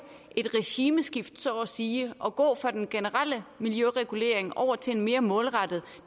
et regimeskifte så at sige og gå fra den generelle miljøregulering og over til en mere målrettet